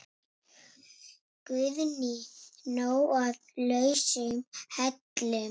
Guðný: Nóg af lausum hellum?